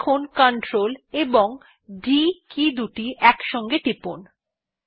এখন Ctrl এবং D key দুটি একসাথে টিপুন